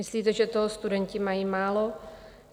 Myslíte, že toho studenti mají málo?